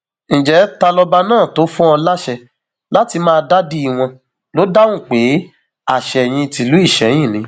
ǹjẹ ta lọba náà tó fún ọ láṣẹ láti máa dádì wọn ló dáhùn pé àsẹyìn tìlú ìsẹyìn ni